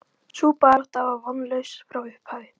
Sú barátta var vonlaus frá upphafi.